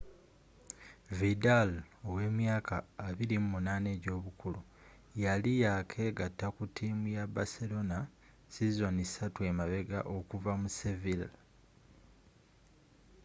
vidal ow'emyaka 28 ej'obukulu yali yakegata ku tiimu ya baserona sizoni satu emabega okuva mu sevilla